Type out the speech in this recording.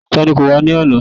Ta ni kò wá ní àná?